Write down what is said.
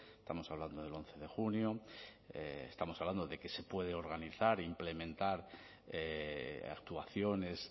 estamos hablando del once de junio estamos hablando de que se puede organizar e implementar actuaciones